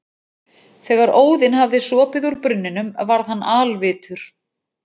Þegar Óðinn hafði sopið úr brunninum varð hann alvitur.